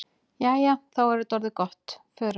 Jæja, þá er þetta orðið gott. Förum.